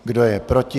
Kdo je proti?